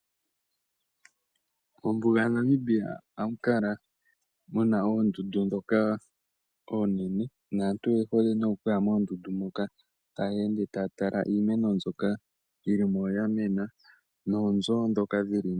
Mombuga yaNamibia ohamu kala muna oondundu oonene. Aantu oye hole okuyamo ya tale iimeno mbyono yili mo ya mena oshowo oonzo ndhoka dhili mo.